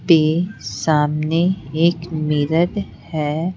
पे सामने एक मिरर है।